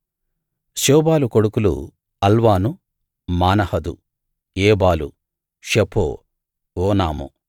శోబాలు కొడుకులు అల్వాను మానహదు ఏబాలు షపో ఓనాము